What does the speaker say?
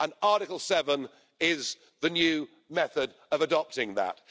And Article 7 is the new method of adopting that.